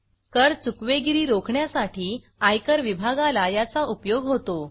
कर चुकवेगिरी रोखण्यासाठी आयकर विभागाला याचा उपयोग होतो